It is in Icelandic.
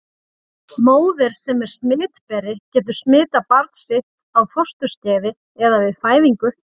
Móðir sem er smitberi getur smitað barn sitt á fósturskeiði eða við fæðingu.